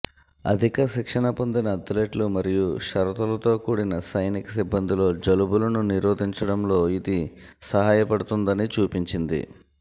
అధిక శిక్షణ పొందిన అథ్లెట్లు మరియు షరతులతో కూడిన సైనిక సిబ్బందిలో జలుబులను నిరోధించడంలో ఇది సహాయపడుతుందని చూపించింది